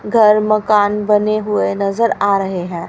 घर मकान बने हुए नजर आ रहे हैं।